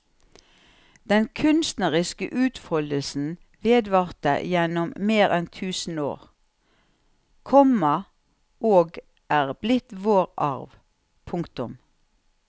Den kunstneriske utfoldelsen vedvarte gjennom mer enn tusen år, komma og er blitt vår arv. punktum